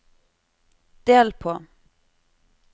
del på